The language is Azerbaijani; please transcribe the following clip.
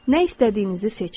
Nə istədiyinizi seçin.